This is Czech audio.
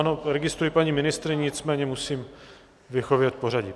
Ano, registruji paní ministryni, nicméně musím vyhovět pořadí.